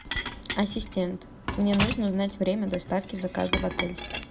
ассистент мне нужно узнать время доставки заказа в отель